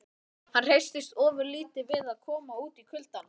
Hann hresstist ofurlítið við að koma út í kuldann.